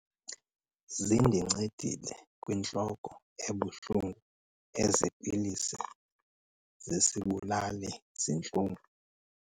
Zindincedile kwintloko ebuhlungu ezi pilisi zesibulali-zintlungu.